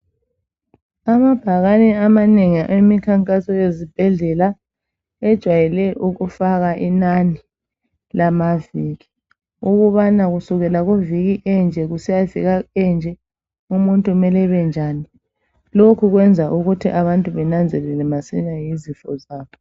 Amabhakani amanengi awemkhankaso ezibhedlela ajayele ukufaka inani lamaviki ukubana kusukela kuviki enje kusiyafika enje umuntu mele ebe njani lokhu kwenza ukuthi abantu bananzelele masinya ngezifo zabo.